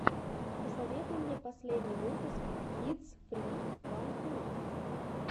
посоветуй мне последний выпуск кидс фри ван ту